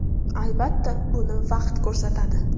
Albatta, buni vaqt ko‘rsatadi.